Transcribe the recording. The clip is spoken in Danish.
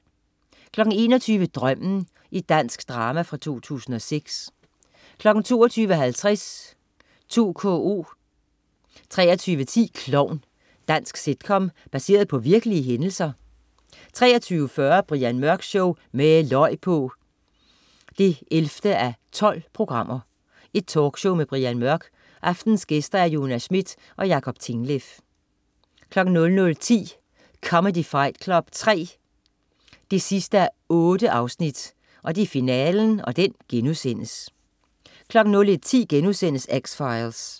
21.00 Drømmen. Dansk drama fra 2006 22.50 2KO 23.10 Klovn. Dansk sitcom baseret på virkelige hændelser 23.40 Brian Mørk Show. Med løg på! 11:12. Talkshow med Brian Mørk. Aftenens gæster: Jonas Schmidt og Jacob Tingleff 00.10 Comedy Fight Club 3 8:8. Finalen* 01.10 X-Files*